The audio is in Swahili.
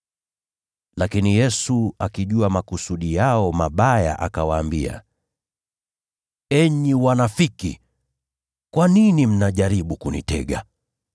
Lakini Yesu, akijua makusudi yao mabaya, akawaambia, “Enyi wanafiki, kwa nini mnajaribu kunitega?